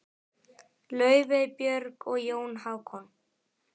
Laufey, Björg og Jón Hákon.